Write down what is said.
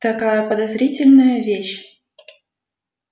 такая подозрительная вещь